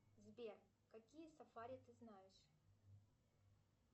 сбер какие сафари ты знаешь